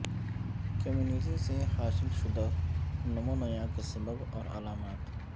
community سے حاصل شدہ نمونیا کے سبب اور علامات